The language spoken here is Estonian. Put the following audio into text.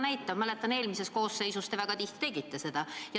Mäletan, et eelmises koosseisus te väga tihti tegite seda.